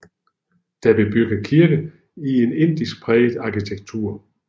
Der blev bygget kirke i en indisk præget arkitektur